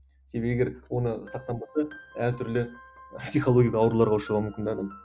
егер оны сақтанбаса әртүрлі психологиялық ауруларға ұшырауы мүмкін де адам